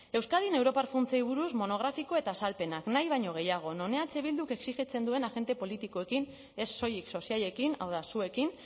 euskadin europar funtsei buruz monografiko eta azalpenak nahi baino gehiago non eh bilduk exijitzen duen agente politikoekin ez soilik sozialekin hau da zuekin